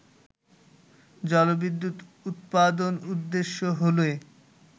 জলবিদ্যুৎ উৎপাদন উদ্দেশ্য হলে